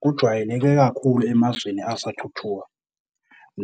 Kujwayeleke kakhulu emazweni asathuthuka,